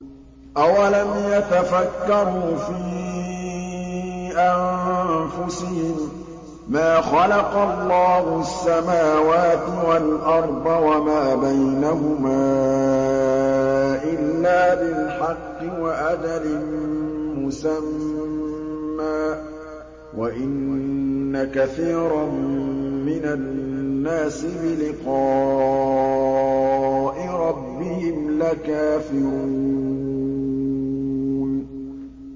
أَوَلَمْ يَتَفَكَّرُوا فِي أَنفُسِهِم ۗ مَّا خَلَقَ اللَّهُ السَّمَاوَاتِ وَالْأَرْضَ وَمَا بَيْنَهُمَا إِلَّا بِالْحَقِّ وَأَجَلٍ مُّسَمًّى ۗ وَإِنَّ كَثِيرًا مِّنَ النَّاسِ بِلِقَاءِ رَبِّهِمْ لَكَافِرُونَ